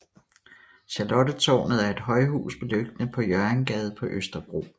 Charlottetårnet er et højhus beliggende på Hjørringgade på Østerbro